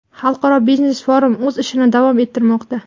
Xalqaro biznes-forum o‘z ishini davom ettirmoqda.